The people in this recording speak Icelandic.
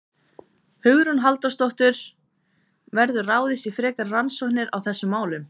Hugrún Halldórsdóttir: Verður ráðist í frekari rannsóknir á þessum málum?